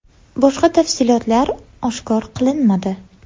Boshqa tafsilotlar oshkor qilinmadi.